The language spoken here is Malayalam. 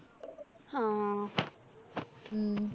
ഹാ ഉം